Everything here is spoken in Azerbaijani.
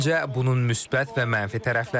Məncə, bunun müsbət və mənfi tərəfləri var.